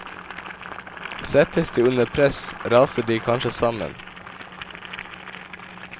Settes de under press, raser de kanskje sammen.